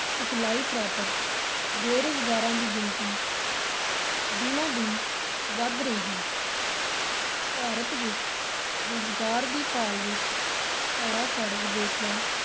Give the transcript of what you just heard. ਸਿਖਲਾਈ ਪ੍ਰਾਪਤ ਬੇਰੁਜ਼ਗਾਰਾਂ ਦੀ ਗਿਣਤੀ ਦਿਨੋਂ-ਦਿਨ ਵਧ ਰਹੀ ਹੈ ਭਾਰਤ ਵਿੱਚ ਰੁਜ਼ਗਾਰ ਦੀ ਭਾਲ ਵਿਚ ਧੜਾ-ਧੜ ਵਿਦੇਸ਼ਾਂ